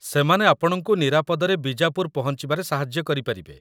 ସେମାନେ ଆପଣଙ୍କୁ ନିରାପଦରେ ବିଜାପୁର ପହଞ୍ଚିବାରେ ସାହାଯ୍ୟ କରିପାରିବେ ।